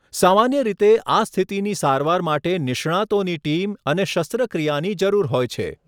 સામાન્ય રીતે, આ સ્થિતિની સારવાર માટે નિષ્ણાતોની ટીમ અને શસ્ત્રક્રિયાની જરૂર હોય છે.